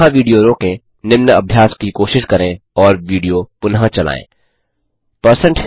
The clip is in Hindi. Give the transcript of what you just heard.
यहाँ विडियो रोकें निम्न अभ्यास की कोशिश करें और विडियो पुनः चलायें